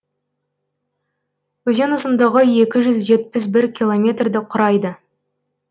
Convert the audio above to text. өзен ұзындығы екі жүз жетпіс бір километрді құрайды